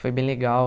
Foi bem legal.